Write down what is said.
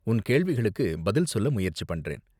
உன் கேள்விகளுக்கு பதில் சொல்ல முயற்சி பண்றேன்.